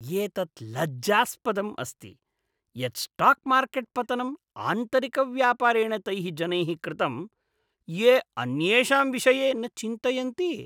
एतत् लज्जास्पदम् अस्ति यत् स्टाक् मार्केट् पतनं आन्तरिकव्यापारेण तैः जनैः कृतं ये अन्येषां विषये न चिन्तयन्ति।